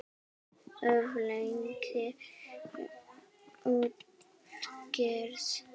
Of löng útgerð.